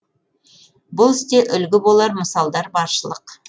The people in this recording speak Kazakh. бұл істе үлгі болар мысалдар баршылық